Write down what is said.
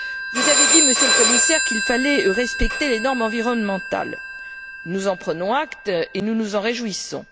Vous avez dit, Monsieur le Commissaire, qu'il fallait respecter les normes environnementales, nous en prenons acte et nous nous en réjouissons.